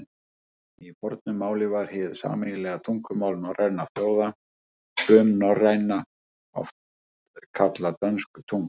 Í fornu máli var hið sameiginlega tungumál norrænna þjóða, frumnorræna, oft kallað dönsk tunga.